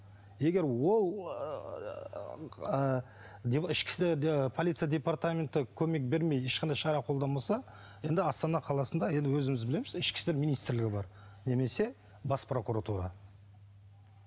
егер ол полиция департаменті көмек бермей ешқандай шара қолданбаса енді астана қаласында енді өзіміз білеміз ішкі істер министрлігі бар немесе бас прокуратура